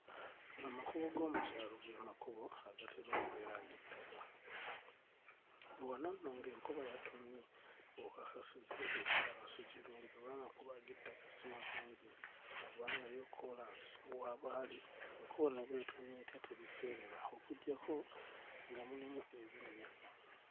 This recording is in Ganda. Amakubo g'omu kyalo ge makubo agatera okubeera ag'ettaka. Wano nno ng'enkuba yatonnye w'okakasiza nti ekyalo si kirungi kuba amakubo g'ettaka si malungi kubanga yo kkoolaasi ne bw'abanga enkuba ne bw'etonnya etya teriseerera okuggyako nga mulimu ebinnya.